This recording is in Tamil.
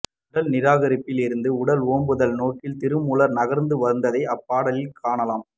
உடல்நிராகரிப்பில் இருந்து உடல் ஓம்புதல் நோக்கி திருமூலர் நகர்ந்து வந்ததை அப்பாடலில் காணலாம்